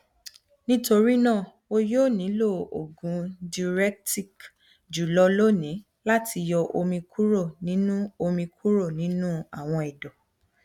nitorina o yoo nilo oogun diuretic julọ loni lati yọ omi kuro ninu omi kuro ninu awọn ẹdọ